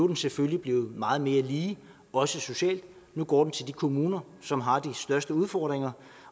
den selvfølgelig blevet meget mere lige også socialt nu går den til de kommuner som har de største udfordringer